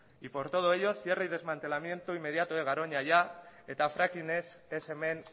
y por todo ello cierre y desmantelamiento inmediato de garoña ya eta fracking ez ez hemen